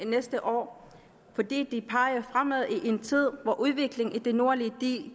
næste år fordi det peger fremad i en tid hvor udviklingen i de nordlige